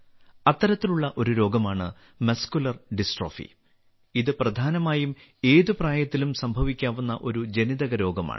അത്തരത്തിലുള്ള ഒരു രോഗമാണ് മസ്കുലർ ഡിസ്ട്രോഫി ഇത് പ്രധാനമായും ഏത് പ്രായത്തിലും സംഭവിക്കാവുന്ന ഒരു ജനിതക രോഗമാണ്